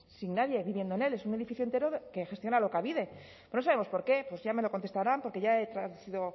sin nadie viviendo en él es un edificio entero que gestiona alokabide pero no sabemos por qué ya me lo contestarán porque ya le